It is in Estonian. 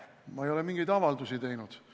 Ma ei ole mingeid avaldusi teinud.